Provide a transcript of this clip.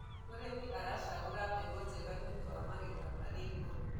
mũrĩmi aracagura mbegũ njega nĩũndũ wa magetha mari igũrũ